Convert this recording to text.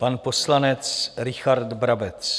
Pan poslanec Richard Brabec.